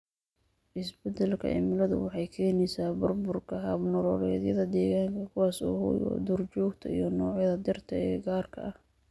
Isbeddelka cimiladu waxay keenaysaa burburka hab-nololeedyada deegaanka, kuwaas oo hoy u ah duurjoogta iyo noocyada dhirta ee gaarka ah.